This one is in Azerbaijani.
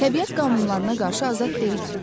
Təbiət qanunlarına qarşı azad deyiləm.